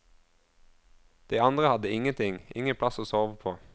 De andre hadde ingenting, ingen plass å sove på.